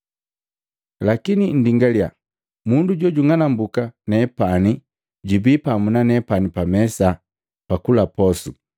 “Lakini nndingalya! Mundu jojing'anumbuka nepani jubii pamu na nepani pamesa, pakula posu!